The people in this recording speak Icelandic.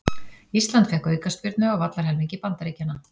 Ísland fékk aukaspyrnu á vallarhelmingi Bandaríkjanna